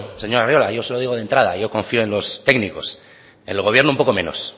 señor arriola yo se lo digo de entrada yo confío en los técnicos en el gobierno un poco menos